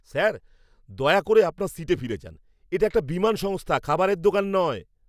Sir, দয়া করে আপনার সিটে ফিরে যান। এটা একটা বিমান সংস্থা, খাবারের দোকান নয়!